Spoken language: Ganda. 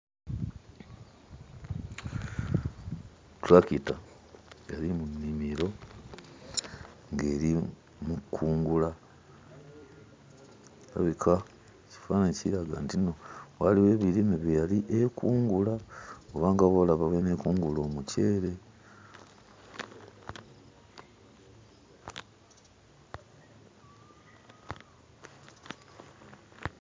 Ttulakita yali mu nnimiro ng'eri mu kkungula. Erabika ekifaananyi kiraga nti nno waliwo ebirime bye yali ekungula oba nga bw'olaba bw'eneekungula omukyere.